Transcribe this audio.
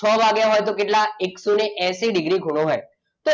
છ વાગ્યા હોય તો કેટલા એકસો એસી ડિગ્રી ખૂણો હોય તો